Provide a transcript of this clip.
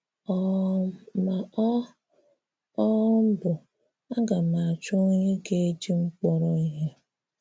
um Mà ọ um bụ, “Aga m achọ onyé ga-eji m kpọrọ ihe!”